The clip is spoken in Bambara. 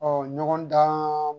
ɲɔgɔndan